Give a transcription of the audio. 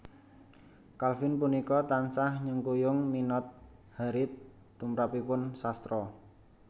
Calvin punika tansah nyengkuyung minat Harriet tumrapipun sastra